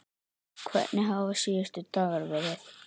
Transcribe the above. Hvernig hafa síðustu dagar verið?